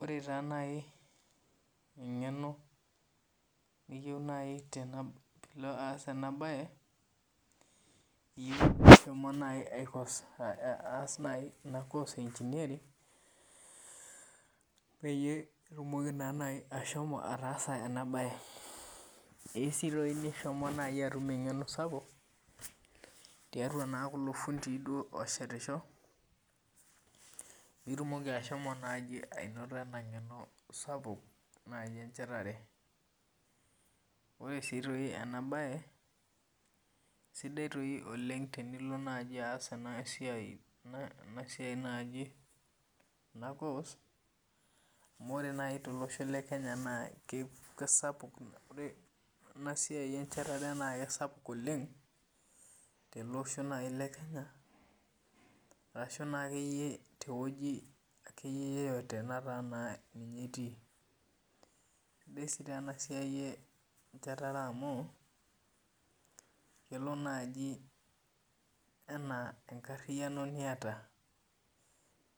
Ore taa naji engeno niyieu naaji pee ilo aas ena bae, iyieu nishomo naaji aas ina course e engineering, peyie itumoki naa naji ashomo ataasa ena bae. Eyieu sii naaji nishomo atum engeno sapuk, tiatua naa kulo fundii duo ooshetisho pee itumoki naaji ashomo ainoto ena ngeno sapuk enchetare. Ore sii aitoki ena bae, sidai sii naji tenilo aas ena course ,amu ore naaji tolosho lekenya naa ore ena siai enchetare naa kisapuk oleng, tele osho naaji lekenya ashu teweji akeyie yeyote nataa naa ninye itii. Eisidai sii ena siai enchetare amu kelo naaji ena enkariano niyata